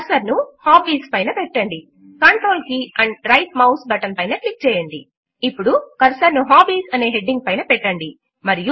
cursor ను HOBBIESపైన పెట్టండి control key and right mouse button పైన క్లిక్ చేయండి